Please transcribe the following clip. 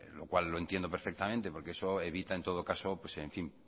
lo cual entiendo perfectamente porque eso evita en todo caso en fin